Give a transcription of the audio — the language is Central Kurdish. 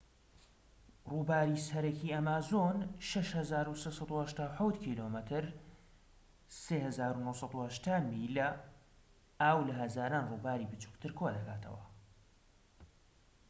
ڕووباری سەرەکی ئەمازۆن 6,387 کم 3,980 میلـە. ئاو لە هەزاران ڕووباری بچووکتر کۆدەکاتەوە